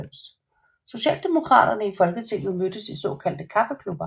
Socialdemokraterne i Folketinget mødes i såkaldte kaffeklubber